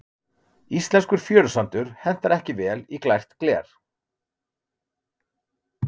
íslenskur fjörusandur hentar ekki vel í glært gler